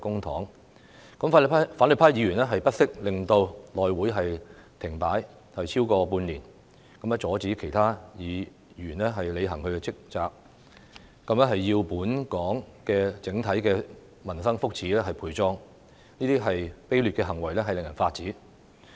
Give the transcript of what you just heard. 反對派議員不惜令內會停擺超過半年，阻止其他議員履行其職責，要本港整體的民生福祉陪葬，這些卑劣行為令人髮指。